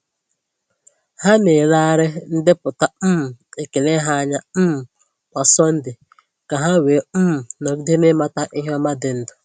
Ha na-elegharị ndepụta um ekele ha anya um kwa Sọnde ka ha wee um nọgide n’ịmata ihe ọma dị ndụ.